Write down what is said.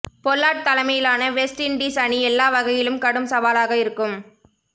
Pollard தலைமையிலான West Indies அணி எல்லா வகையிலும் கடும் சவாலாக இருக்கும்